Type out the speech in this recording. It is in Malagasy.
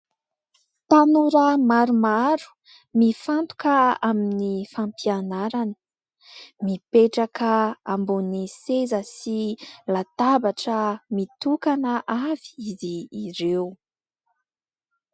Tanora maromaro, mifantoka amin'ny fampianarana, mipetraka ambony seza sy latabatra mitokana avy izy ireo.